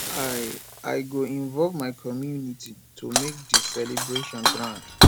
i i go involve my community to make di celebration grand